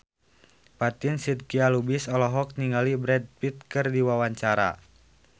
Fatin Shidqia Lubis olohok ningali Brad Pitt keur diwawancara